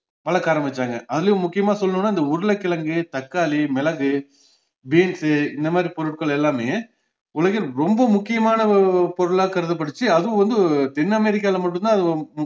வளக்க ஆரம்பிச்சாங்க அதுலையும் முக்கியமா சொல்லணும்னா இந்த உருளைக்கிழங்கு, தக்காளி, மிளகு, beans உ இந்தமாதிரி பொருட்கள் எல்லாமே உலகின் ரொம்ப முக்கியமான ஒ~ பொருளா கருதப்பட்டுச்சு அதுவும் வந்து தென்அமெரிக்கால மட்டும்தான் அது